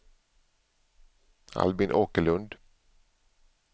Albin Åkerlund